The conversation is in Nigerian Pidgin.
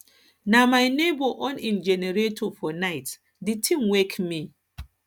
na my nebor on im generator for night di tin wake me